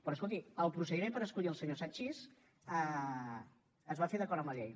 però escolti el procediment per escollir el senyor sanchis es va fer d’acord amb la llei